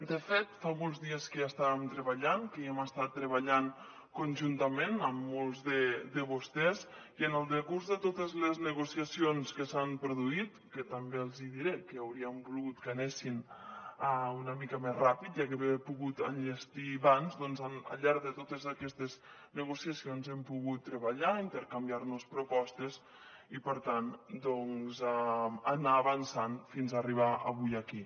de fet fa molts dies que hi estàvem treballant que hi hem estat treballant conjuntament amb molts de vostès i en el decurs de totes les negociacions que s’han produït que també els diré que hauríem volgut que anessin una mica més ràpid i haver pogut enllestir ho abans al llarg de totes aquestes negociacions hem pogut treballar intercanviar nos propostes i per tant doncs anar avançant fins arribar avui aquí